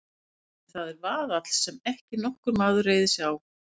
En það er vaðall sem ekki nokkur maður reiðir sig á.